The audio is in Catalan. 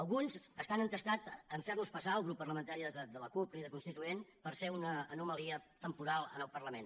alguns estan entestats a fer nos passar al grup parlamentari de la cup crida constituent per ser una anomalia temporal en el parlament